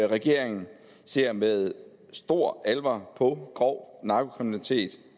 regeringen ser med stor alvor på grov narkokriminalitet